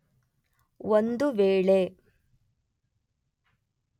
ಒಂದು ವೇಳೆ